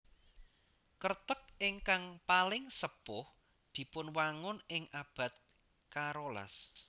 Kreteg ingkang paling sepuh dipunwangun ing abad karolas